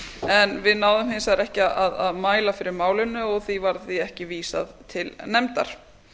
en við náðum hins vegar ekki að mæla fyrir málinu og því var því ekki vísað til nefndar